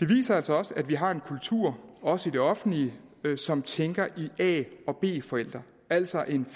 det viser altså også at vi har en kultur også i det offentlige som tænker i a og b forældre altså en